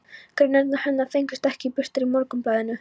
Greinarnar hennar fengust ekki birtar í Morgunblaðinu.